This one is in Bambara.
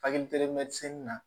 Faki na